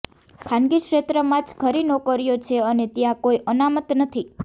ખાનગી ક્ષેત્રમાં જ ખરી નોકરીઓ છે અને ત્યાં કોઈ અનામત નથી